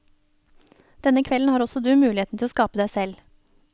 Denne kvelden har også du muligheten til å skape deg selv.